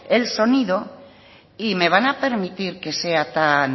el sonido y me van a permitir que sea tan